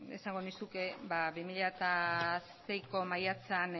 esango nizuke bi mila seiko maiatzean